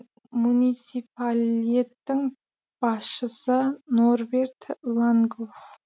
муниципалеттің басшысы норберт лангоф